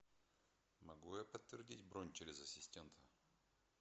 могу я подтвердить бронь через ассистента